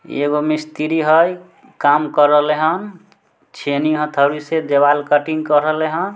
इ एगो मस्त्री हेय काम के रहले हन छैनी हथौड़ा से देवाल कटिंग के रहले हन।